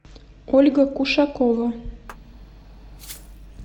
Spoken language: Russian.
ольга кушакова